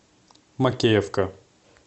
макеевка